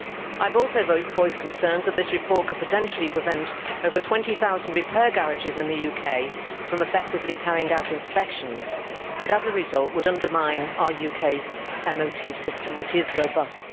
I have also voiced concerns that this report could potentially prevent over 20000 repair garages in the UK from effectively carrying out inspections and, as a result, would undermine our UK MOT system, which is robust.